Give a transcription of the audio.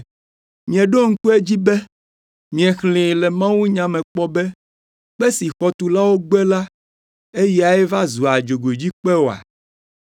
Mieɖo ŋku edzi be miexlẽ le mawunya me kpɔ be, “ ‘Kpe si xɔtulawo gbe la, eyae va zua dzogoedzikpe oa?